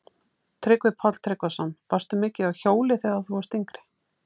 Tryggvi Páll Tryggvason: Varstu mikið á hjóli þegar þú varst yngri?